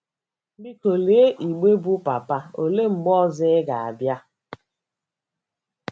Biko lee igbe bụ́ “ Papa, Olee Mgbe Ọzọ Ị Ga - abịa? ”